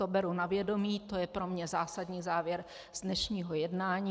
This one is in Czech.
To beru na vědomí, to je pro mě zásadní závěr z dnešního jednání.